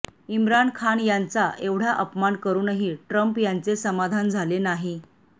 इम्रान खान यांचा एवढा अपमान करूनही ट्रम्प यांचे समाधान झाले नाही